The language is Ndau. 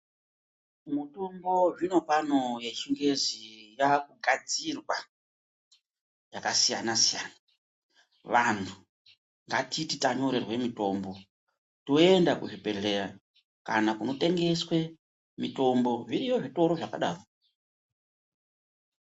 Mutombo zvinopano yechingezi yakugadzirwa yakasiyana siyana. Vantu ngatiti tanyorerwa mutombo toenda kuzvibhedhleya kana kunotengeswa mitombo, zviriyo zvitoro zvakadaro.